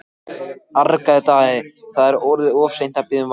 argaði Daði,-það er orðið of seint að biðja um vægð.